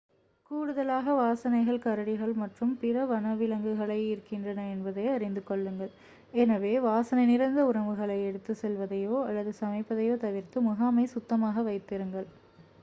கூடுதலாக வாசனைகள் கரடிகள் மற்றும் பிற வனவிலங்குகளை ஈர்க்கின்றன என்பதை அறிந்து கொள்ளுங்கள் எனவே வாசனை நிறைந்த உணவுகளை எடுத்துச் செல்வதையோ அல்லது சமைப்பதையோ தவிர்த்து முகாமை சுத்தமாக வைத்திருங்கள்